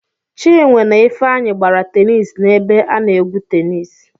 Chinwe na Ifeanyị gbara tenis nebe a na-egwu tenis.